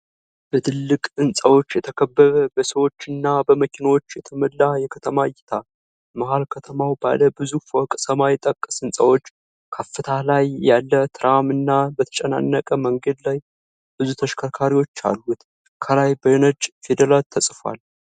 በትላልቅ ህንጻዎች የተከበበ፣ በሰዎች እና በመኪናዎች የተሞላ የከተማ እይታ። መሀል ከተማው ባለ ብዙ ፎቅ ሰማይ ጠቀስ ህንጻዎች፣ ከፍታ ላይ ያለ ትራም እና በተጨናነቀ መንገድ ላይ ብዙ ተሽከርካሪዎች አሉት። ከላይ በነጭ ፊደላት ተጽፏል።